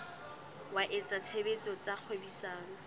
wa etsa tshebetso tsa kgwebisano